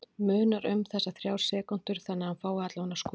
Munar um þessar þrjár sekúndur þannig að hann fái allavega skotið?